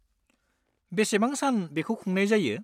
बेसेबां सान बेखौ खुंनाय जायो?